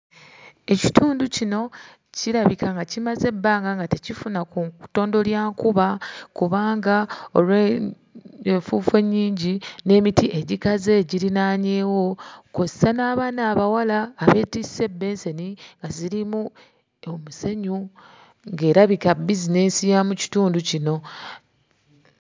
Ekitindu kino kirabika nga kimaze ebbanga nga tekifuna ku ttondo lya nkuba kubanga olw'enfuufu ennyingi n'emiti egikaze egiriraanyeewo. Kw'ossa n'abaana abawala abeetisse ebbensani ezirimu omusenyu era ng'erabika bizinensi ya mu kitundu kino.